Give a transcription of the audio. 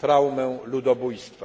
traumę ludobójstwa.